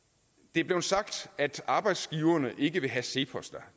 det er blevet sagt at arbejdsgiverne ikke vil have cepos